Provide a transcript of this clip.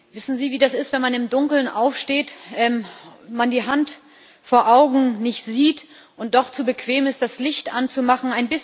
Wissen Sie, wie das ist, wenn man im Dunkeln aufsteht, die Hand vor Augen nicht sieht und doch zu bequem ist, das Licht anzumachen?